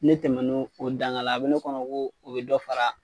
Ne tɛmɛn o danga la a bɛ ne kɔnɔ ko u ye dɔ fara